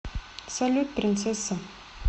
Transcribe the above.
салют принцесса